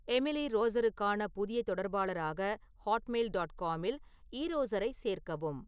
Emily ரோஸருக்கான புதிய தொடர்பாளராக ஹாட்மெயில் டாட் காமில் ஈரோசரைச் சேர்க்கவும்